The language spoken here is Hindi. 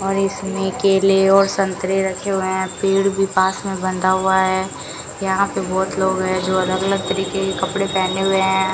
और इसमें केले और संतरे रखे हुए हैं पेड़ भी पास में बंधा हुआ है यहां पे बहुत लोग हैं जो अलग अलग तरीके के कपड़े पहने हुए हैं।